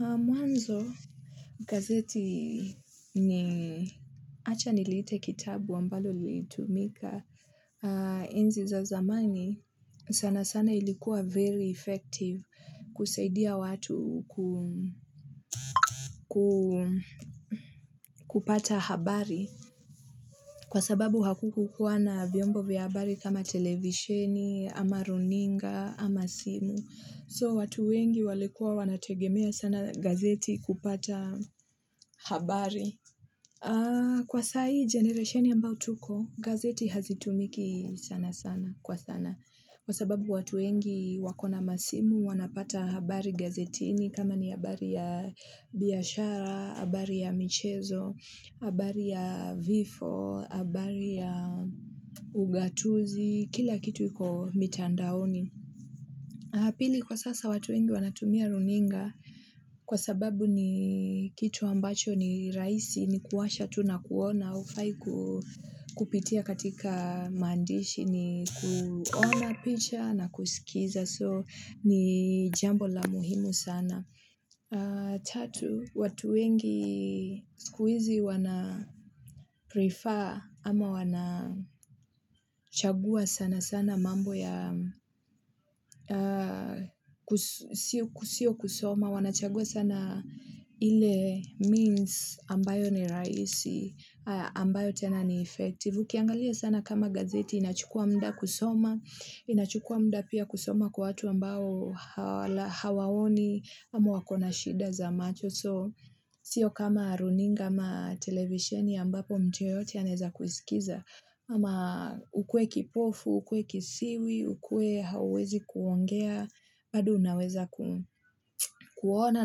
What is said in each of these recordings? Mwanzo gazeti ni achanilite kitabu ambalo lilitumika enzi za zamani sana sana ilikuwa very ifectivu kuseidia watu kupata habari kwasababu hakukukuwa na vyombo vya habari kama televisheni amaruninga ama simu so watu wengi walikuwa wanategemea sana gazeti kupata habari kwa sahii generationi ambao tuko gazeti hazitumiki sana sana kwa sana kwa sababu watu wengi wako namasimu wanapata habari gazetini kama ni habari ya biashara habari ya michezo habari ya vifo habari ya ugatuzi kila kitu iko mitandaoni pili kwasasa watu wengi wanatumia runinga kwasababu ni kitu ambacho ni raisi ni kuwasha tu nakuona ufai kupitia katika mandishi ni kuona picha na kusikiza so ni jambo la muhimu sana tatu watu wengi skuizi wana prifaa ama wana chagua sana sana mambo ya sio kusoma wanachagua sana ile minsi ambayo ni raisi ambayo tena ni ifektivu Ukiangalia sana kama gazeti inachukua mda kusoma inachukua mda pia kusoma kwa watu ambao hawaoni ama wako na shida za macho so sio kama runinga ama televisioni ambapo mtu yeyote aneza kusikiza ama ukue kipofu ukue kisiwi ukue hauwezi kuongea bado unaweza kuona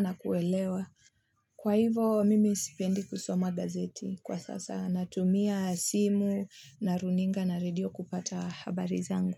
nakuelewa kwahivo mimi sipendi kusoma gazeti kwasasa natumia simu na aruninga na redio kupata habari zangu.